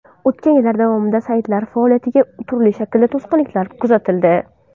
O‘tgan yillar davomida saytlar faoliyatiga turli shaklda to‘sqinliklar kuzatildi.